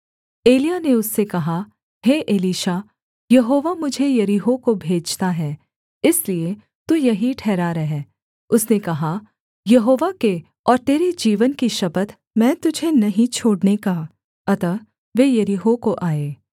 एलिय्याह ने उससे कहा हे एलीशा यहोवा मुझे यरीहो को भेजता है इसलिए तू यहीं ठहरा रह उसने कहा यहोवा के और तेरे जीवन की शपथ मैं तुझे नहीं छोड़ने का अतः वे यरीहो को आए